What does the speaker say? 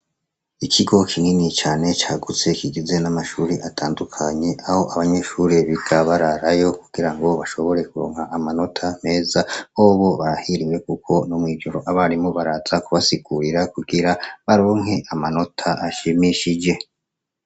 Ikigo kinini cane cagutse kigizwe na mashure atandukanye aho abanyeshure biga bararayo kugira bashobore kuronka amanota meza bobo barahiriwe kuko no mwijoro abarimu baraza kubasigurira kugira baronke amanota ashimishije